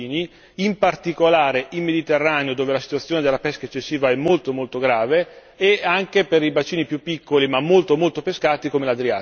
in particolare nel Mediterraneo dove la situazione della pesca eccessiva è molto, molto grave e anche per i bacini più piccoli, ma molto pescati, come l'Adriatico.